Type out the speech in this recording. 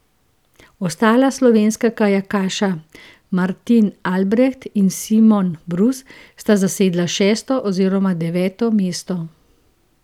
Ostala slovenska kajakaša Martin Albreht in Simon Brus sta zasedla šesto oziroma deveto mesto.